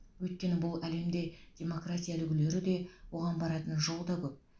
өйткені бұл әлемде демокраия үлгілері де оған баратын жолда көп